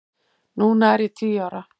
Núna er ég tíu ára.